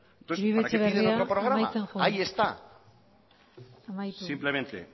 entonces para qué tiene otro programa ahí está uribe etxebarria amaitzen joan amaitu simplemente